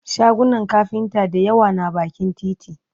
shagunan kafinta da yawa na bakin titi